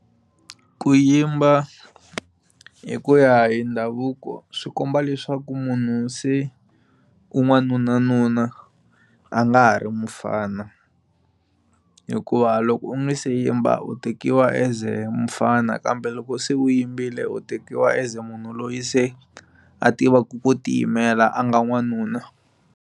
Ku yimba hi ku ya hi ndhavuko swi komba leswaku munhu se u n'wanuna nuna a nga ha ri mufana hikuva loko u nga se yimba u tekiwa as mufana kambe loko se u yimbile u tekiwa as munhu loyi se a tivaka ku ti yimela a nga n'wanuna.